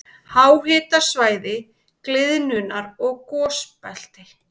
Háhitasvæði- gliðnunar- og gosbelti